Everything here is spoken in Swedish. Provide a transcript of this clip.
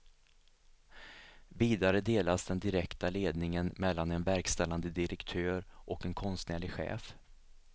Vidare delas den direkta ledningen mellan en verkställande direktör och en konstnärlig chef.